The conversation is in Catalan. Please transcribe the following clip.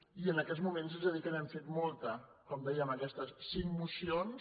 i en aquests moments haig de dir que n’hem fet molta com deia amb aquestes cinc mocions